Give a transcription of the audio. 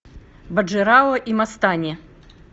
баджирао и мастани